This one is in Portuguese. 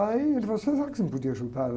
Aí ele falou, será que você não podia ajudar ela?